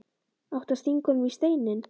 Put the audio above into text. Átti að stinga honum í Steininn?